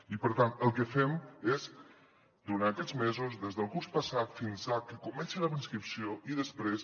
i per tant el que fem és durant aquests mesos des del curs passat fins que comenci la inscripció i després